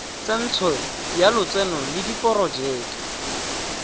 tsentsho ya lotseno le diporojeke